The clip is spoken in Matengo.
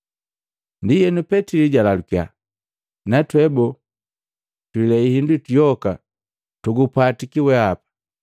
Ndienu Petili jalalukiya, “Na twe bole? Twilei hindu yoka tugupwatiki wehapa!”